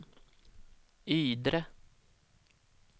Ydre